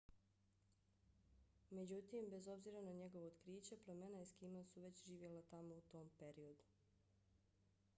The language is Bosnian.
međutim bez obzira na njegovo otkriće plemena eskima su već živjela tamo u tom periodu